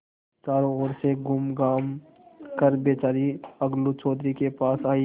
चारों ओर से घूमघाम कर बेचारी अलगू चौधरी के पास आयी